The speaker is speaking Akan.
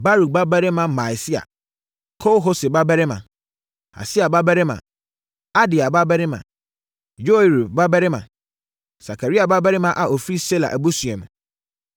Baruk babarima Maaseia, Kol-Hose babarima, Hasaia babarima, Adaia babarima, Yoiarib babarima, Sakaria babarima a ɔfiri Sela abusua mu.